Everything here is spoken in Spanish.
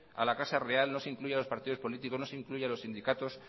a la casa real no se incluyen a los partidos políticos no se incluyen a los sindicatos